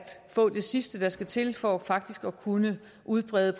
få det sidste der skal til for faktisk at kunne udbrede